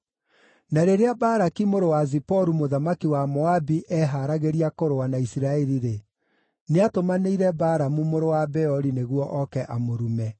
Na rĩrĩa Balaki mũrũ wa Ziporu mũthamaki wa Moabi eeharagĩria kũrũa na Isiraeli-rĩ, nĩatũmanĩire Balamu mũrũ wa Beori nĩguo oke amũrume.